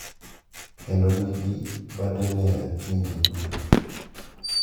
Kendo nigi badene e pinje duto.